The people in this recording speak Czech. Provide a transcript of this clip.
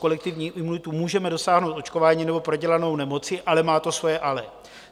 Kolektivní imunitu můžeme dosáhnout očkováním nebo prodělanou nemocí, ale má to svoje ale.